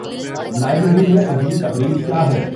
library میں اگلی تقریب کیا ہے